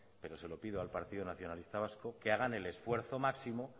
pero se lo pido al partido nacionalista vasco que hagan el esfuerzo máximo